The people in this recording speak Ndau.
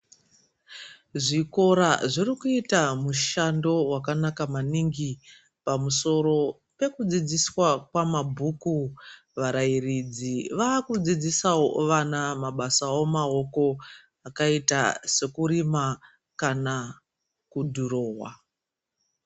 Zvikora zvirikuita mushando wakanaka maningi pamusoro pekudzidziswa kwamabhuku varairidzi vakudzidzisawo vana mabasa omaoko akaita sokurima kana kudhurowa.